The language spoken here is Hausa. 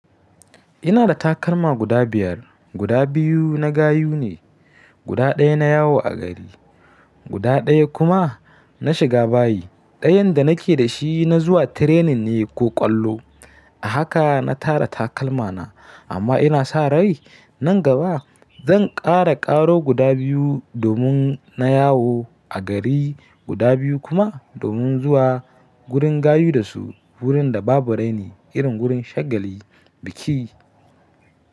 Ina da takalma guda biyar, guda biyu na gayu ne, guda ɗaya na yawo a gari, guda ɗaya kuma na shiga bayi. Ɗayan da nake da shi na zuwa training ne ko ƙwallo. A haka na tara takalmana amma ina sa rai nan gaba zan ƙara ƙaro guda biyu domin na yawo a gari, guda biyu kuma domin zuwa gurin gayu da su wurin da babu raini irin gurin shagali, biki.